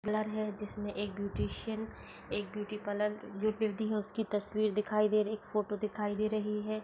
है जिसमे एक ब्यूटीशियन एक ब्यूटी पार्लर जो है उसकी तस्वीर दिखाई दे रही है। एक फ़ोटो दिखाई दे रही है।